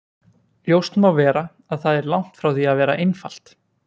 Ljóst má vera að það er langt frá því að vera einfalt.